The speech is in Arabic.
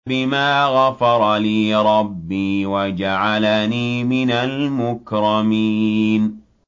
بِمَا غَفَرَ لِي رَبِّي وَجَعَلَنِي مِنَ الْمُكْرَمِينَ